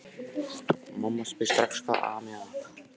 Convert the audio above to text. Mamma spyr strax hvað ami að.